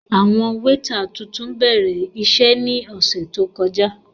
Awọn weeta tuntun bẹrẹ iṣe ni ọsẹ to kọja.